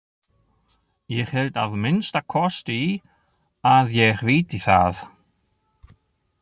Ég held að minnsta kosti að ég viti það.